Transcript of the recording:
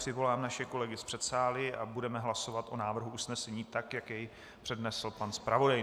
Přivolám naše kolegy z předsálí a budeme hlasovat o návrhu usnesení tak, jak jej přednesl pan zpravodaj.